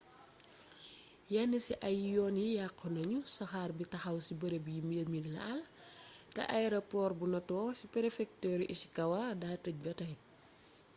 yenn ci ay yoon yi yàqu nañu saxaar bi taxaw ci bërëb yi mbir mi laal té ayeropoor bu noto ci prefekturu ishikawa daa teej ba tay